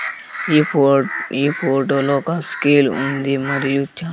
ఈ ఫోట్ ఈ ఫోటో లో ఒక స్కేల్ ఉంది మరియు చా--